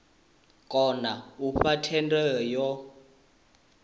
kona u fha thendelo yo